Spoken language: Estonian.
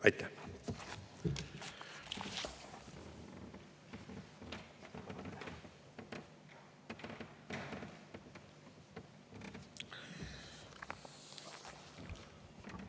Aitäh!